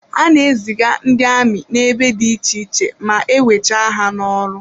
Ha na-eziga ndị amị n'ebe dị iche iche ma e wecha ha n'ọrụ.